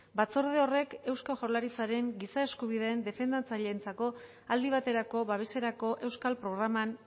batzorde horrek eusko jaurlaritzaren giza eskubideen defendatzaileentzako aldi baterako babeserako euskal programan